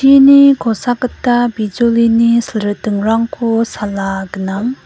kosakgita bijolini silritingrangko sala gnang.